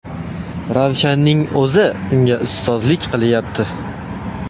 Ravshanning o‘zi unga ustozlik qilyapti.